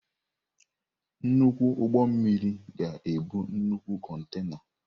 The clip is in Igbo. Nnukwu ụgbọ mmiri ga-ebu nnukwu kontena.